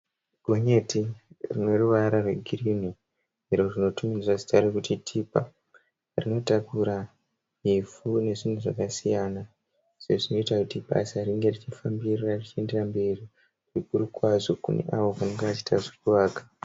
Gonyeti rine ruvara rwegirini, iro rinotumidzwa zita rekuti tipa rinotakura ivhu nezvimwe zvakasiyana. Izvo zvinoiita kuti basa ripfuurire mberi zvikuru kwazvo kune avo vanenge vachiita zvekuvaka.